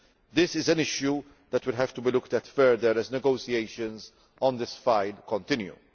This is an issue that will have to be looked at further as negotiations on this file continue.